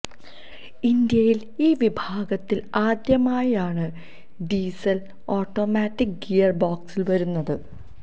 ഇന്ത്യയിൽ ഈ വിഭാഗത്തിൽ ആദ്യമായാണ് ഡീസൽ ഓട്ടോമാറ്റിക് ഗിയർ ബോക്സ് വരുന്നത്